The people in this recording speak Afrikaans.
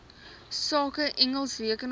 sake engels rekenaars